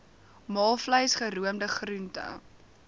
maalvleis geroomde groente